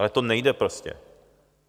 Ale to nejde prostě!